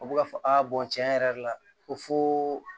U bɛ ka fɔ a bɔn tiɲɛ yɛrɛ la ko foo